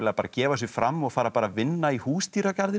gefa sig fram og fara bara að vinna í Húsdýragarðinum